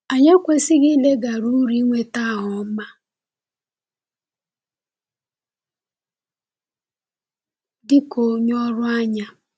Anyị ekwesịghị ileghara uru ịnweta aha ọma dị ka onye ọrụ anya.